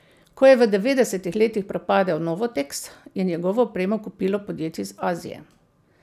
Ko je v devetdesetih letih propadel Novoteks, je njegovo opremo kupilo podjetje iz Azije.